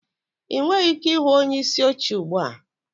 Ị nweghị ike ịhụ onyeisi oche ugbu a